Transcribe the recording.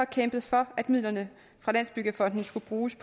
kæmpet for at midlerne fra landsbyggefonden skulle bruges